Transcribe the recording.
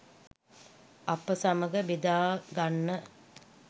අප සමග බෙදාගන්න